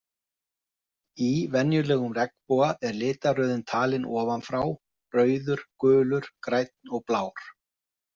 Í venjulegum regnboga er litaröðin talin ofan frá, rauður, gulur, grænn og blár.